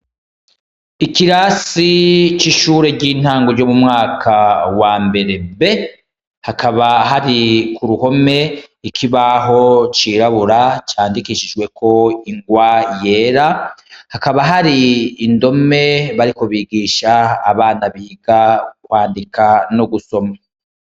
Ikirasi c'ishure ry'intango ryomumwaka wa mbere,B hakaba hari kuruhome ikibaho cirabura, candikishijwe ko ingwa yera ,hakaba hari indome bariko bigisha Abana biga kwandika no gusoma.